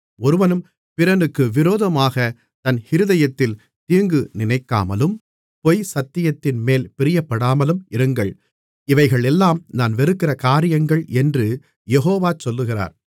ஒருவனும் பிறனுக்கு விரோதமாகத் தன் இருதயத்தில் தீங்கு நினைக்காமலும் பொய் சத்தியத்தின்மேல் பிரியப்படாமலும் இருங்கள் இவைகளெல்லாம் நான் வெறுக்கிற காரியங்கள் என்று யெகோவா சொல்லுகிறார்